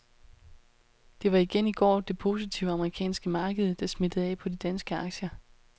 Det var igen i går det positive amerikanske marked, der smittede af på de danske aktier.